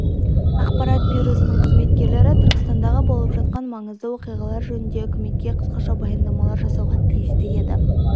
ақпарат бюросының қызметкерлері түркістандағы болып жатқан маңызды оқиғалар жөнінде үкіметке қысқаша баяндамалар жасауға тиісті еді